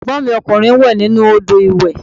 Ẹ̀gbọ́n mi ọkùnrin n wẹ̀ nínú odò ìwẹ̀